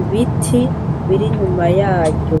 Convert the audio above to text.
ibiti biri inyuma yaryo.